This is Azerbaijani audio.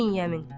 İbn Yemin.